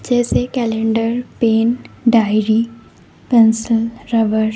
जैसे calendar paint diary pencil rubber.